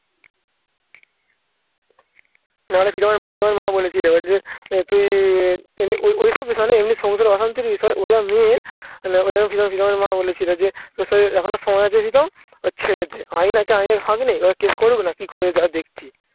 প্রীতমের প্রীতমের মা বলেছিল তুই এমনি সংসারে অশান্তির বিষয় ওরা মে প্রীতমের প্রীতমের মা বলেছিলবলেছিল যে এখনো সময় আছে দিতাম ওর ছেড়ে দে আইন আছে আইনের ফাঁক নেই ওরা case করবে না কি করবে দাড়া দেখছি